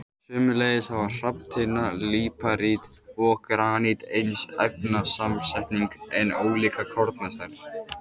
Sömuleiðis hafa hrafntinna, líparít og granít eins efnasamsetning en ólíka kornastærð.